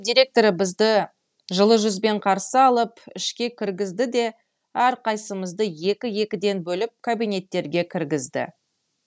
директоры бізді жылы жүзбен қарсы алып ішке кіргізді де әрқайсысымызды екі екіден бөліп кабинеттерге кіргізді